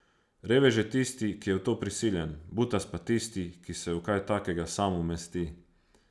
Revež je tisti, ki je v to prisiljen, butast pa tisti, ki se v kaj takega sam umesti.